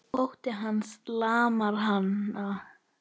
Ótti hans lamar hana.